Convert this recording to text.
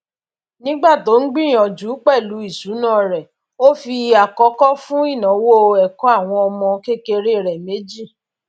nígbà tó ń gbìyànjú pẹlú ìṣúná rẹ ó fi àkọkọ fún ináwó ẹkọ àwọn ọmọ kékeré rẹ méjì